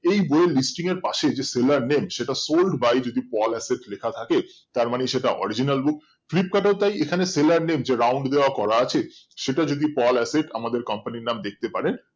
এই বই এর listing এর পশে যে seller name সেটা যদি sold by pol acid লেখা থাকে তারমানে সেটা original bookflipkart এ তাই এখানে seller name যে round দেওয়া করা আছে সেটা যদি পল acid আমাদের company র নাম দেখতে পারেন